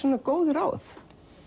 góð ráð